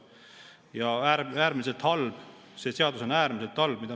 See seaduseelnõu, mida me siin praegu menetleme, on äärmiselt halb.